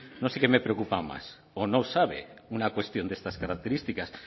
no sé qué me preocupa más o no sabe una cuestión de unas características